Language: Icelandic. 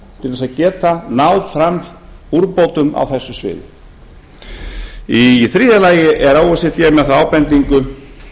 til að geta náð fram úrbótum á þessu sviði þriðja o e c d er með þá ábendingu